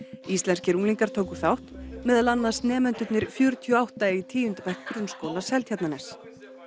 íslenskir unglingar tóku þátt meðal annars nemendurnir fjörutíu og átta í tíunda bekk Grunnskóla Seltjarnarness